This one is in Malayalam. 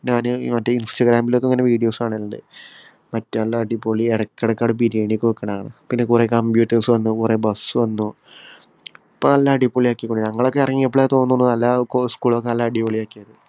ഞാന് മറ്റേ instagram മിലൊക്കെ ഇങ്ങനെ videos കാണാറുണ്ട്. മറ്റ് നല്ല അടിപൊളിയാ എടയ്ക്ക് എടയ്ക്ക് അവിടെ ബിരിയാണിയൊക്കെ വെക്കണ കാണാം. പിന്നെ കൊറേ computers വന്നു. കൊറേ bus വന്നു. ഇപ്പം നല്ല അടിപൊളിയാക്കി. ഞങ്ങളൊക്കെ എറങ്ങിയപ്പോഴാണെന്ന് തോന്നുന്നു school ഒക്കെ നല്ല അടിപൊളിയാക്കിയത്.